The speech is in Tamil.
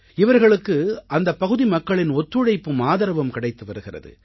இவர்களுக்கு அந்தப் பகுதி மக்களின் ஒத்துழைப்பும் ஆதரவும் கிடைத்து வருகிறது